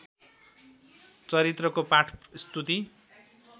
चरित्रको पाठ स्तुति